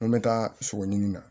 N ko n bɛ taa sogo ɲini na